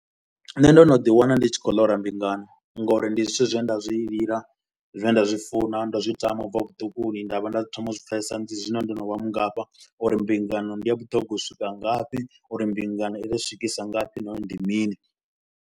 Nṋe ndo no ḓi wana ndi tshi khou ḽora mbingano ngauri ndi zwithu zwine nda zwi lila, zwine nda zwi funa, ndao zwi tama u bva vhuṱukuni. Nda vha nda thoma u zwi pfesesa zwino ndo no vha mungafha uri mbingano ndi a vhuṱhogwa u swika ngafhi uri mbingano i ḓo nswikisa ngafhi nahone ndi mini.